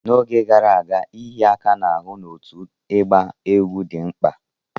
N'oge gara aga, ịhịa aka n'ahụ na otu ịgba egwú dị mkpa.